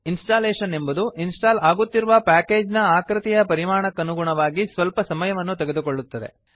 installation ಎಂಬುದು install ಆಗುತ್ತಿರುವ package ನ ಆಕೃತಿ ಪರಿಮಾಣಕ್ಕನುಗುಣವಾಗಿ ಸ್ವಲ್ಪ ಸಮಯವನ್ನು ತೆಗೆದುಕೊಳ್ಳುತ್ತದೆ